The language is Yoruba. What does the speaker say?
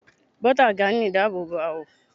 Bota ga ni idaabobo awọ